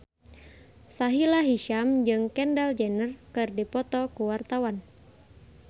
Sahila Hisyam jeung Kendall Jenner keur dipoto ku wartawan